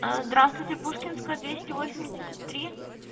здравствуйте пушкинская двести восемьдесят три